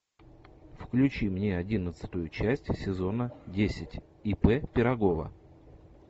включи мне одиннадцатую часть сезона десять ип пирогова